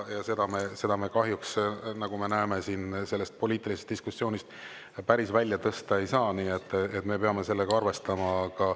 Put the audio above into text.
Seda me kahjuks, nagu me näeme, siin poliitilisest diskussioonist päris välja tõsta ei saa, nii et me peame sellega arvestama.